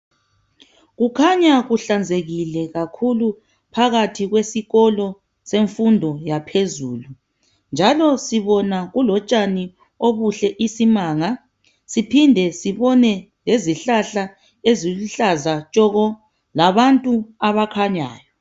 Kukhanya kuhlanzekile kakhulu phakathi kwesikolo semfundo yaphezulu. Njalo sibona kulotshani obuhle isimanga, siphinde sibone lezihlahla eziluhlaza tshoko, labantu abakhanyayo.